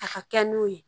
A ka kɛ n'o ye